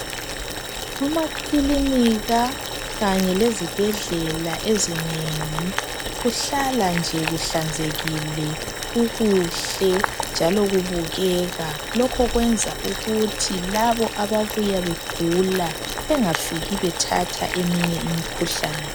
Amakilinika kanye lezibhedlela ezinengi kuhlala nje kuhlanzekile, kukuhle njalo kubukeka. Lokho kwenza ukuthi labo ababuya begula bengafiki bethatha eminye imikhuhlane.